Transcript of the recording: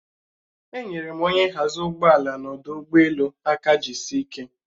Enyere m onye nhazi ụgbọala n'ọdụ ụgbọelu aka jiisie ike